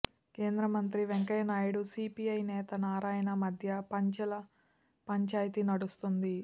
కేంద్రమంత్రి వెంకయ్య నాయుడు సీపీఐ నేత నారాయణ మధ్య పంచెల పంచాయితీ నడుస్తోంది